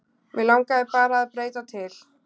Mig langaði bara að breyta til.